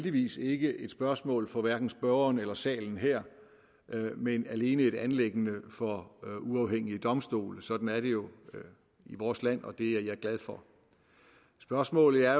heldigvis ikke et spørgsmål for hverken spørgeren eller salen her men alene et anliggende for uafhængige domstole sådan er det jo i vores land og det er jeg glad for spørgsmålet er